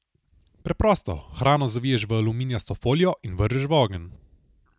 Preprosto, hrano zaviješ v aluminijasto folijo in vržeš v ogenj.